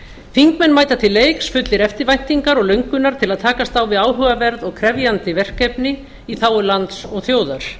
þingmenn mæta til leiks fullir eftirvæntingar og löngunar til að takast á við áhugaverð og krefjandi verkefni í þágu lands og þjóðar